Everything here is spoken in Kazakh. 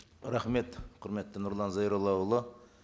рахмет құрметті нұрлан зайроллаұлы